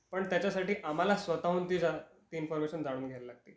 पण त्याच्या साठी आम्हाला स्वतः हून ती इन्फॉरमेशन जाणून घ्यायला लागते.